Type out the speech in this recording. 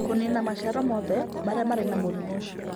Kũniina maciaro mothe marĩa marĩ na mũrimũ ũcio